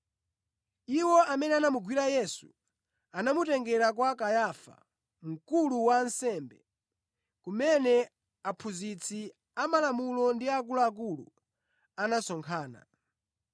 Iwo amene anamugwira Yesu anamutengera kwa Kayafa, mkulu wa ansembe, kumene aphunzitsi amalamulo ndi akuluakulu anasonkhana.